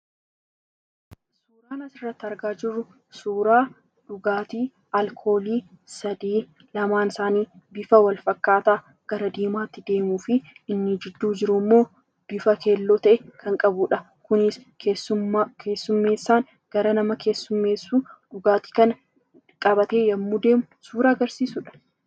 Suuraan asirratti argaa jirru kun suuraa dhugaatii alkoolii sadii lamaan isaanii bifa wal fakkaataa gara diimaatti deemuu fi inni gidduu immoo bifa keelloo qabudha. Kunis keessummaa keessummeessaan gara nama keessumeessuu dhugaatii kana qabatee yommuu deemu suuraa agarsiisudha.